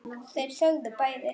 Þeir þögðu báðir.